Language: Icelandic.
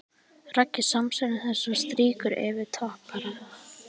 Raggi samsinnir þessu og strýkur yfir topparann.